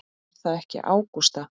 Er það ekki Ágústa?